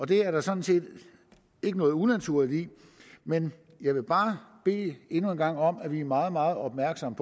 det er der sådan set ikke noget unaturligt i men jeg vil bare endnu en gang bede om at vi er meget meget opmærksomme